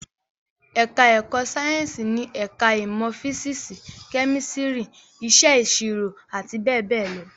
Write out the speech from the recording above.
Ẹ̀ká ẹ̀kọ́ Sáyẹ̀nsì ni ẹ̀ká ìmọ̀ físísì, kẹ́mísítírì, Iṣẹ́ ìṣirò àti bẹ́ẹ̀ bẹ́ẹ̀ lọ